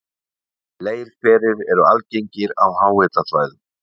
Leirhverir eru algengir á háhitasvæðum.